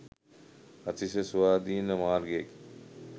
අතිශය ස්වාධීන මාර්ගයකි.